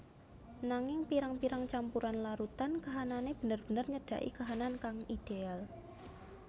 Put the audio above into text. Nanging pirang pirang campuran larutan kahanane bener bener nyedaki kahanan kang ideal